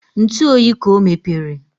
Ntụ ọyị ka ọ mepere